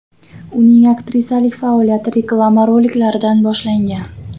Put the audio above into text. Uning aktrisalik faoliyati reklama roliklaridan boshlangan.